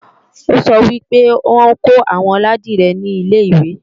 Ó sọ wí pé wọ́n kọ́ àwọn ládìrẹ ní ilè-ìwé